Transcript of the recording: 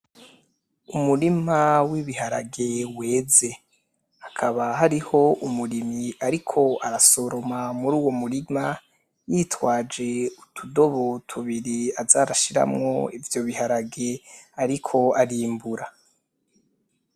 Umurima w'ibiharage weze hakaba hariho umurimyi ariko arasoroma muri uwo murima yitwaje utudobo tubiri aza arashimwo ivyo biharage ariko arimbura.